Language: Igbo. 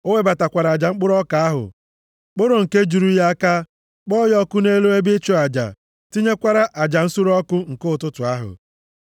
O webatakwara aja mkpụrụ ọka ahụ, kporo nke juru ya aka, kpọọ ya ọkụ nʼelu ebe ịchụ aja, tinyekwara aja nsure ọkụ nke ụtụtụ ahụ.